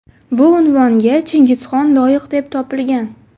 Bu unvonga Chingizxon loyiq deb topilgan.